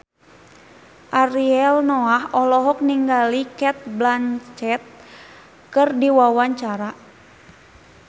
Ariel Noah olohok ningali Cate Blanchett keur diwawancara